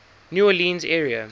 new orleans area